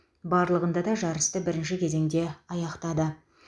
барлығында да жарысты бірінші кезеңде аяқтады